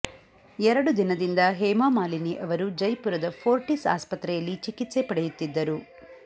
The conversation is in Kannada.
ಎರಡು ದಿನದಿಂದ ಹೇಮಾಮಾಲಿನಿ ಅವರು ಜೈಪುರದ ಫೋರ್ಟಿಸ್ ಆಸ್ಪತ್ರೆಯಲ್ಲಿ ಚಿಕಿತ್ಸೆ ಪಡೆಯುತ್ತಿದ್ದರು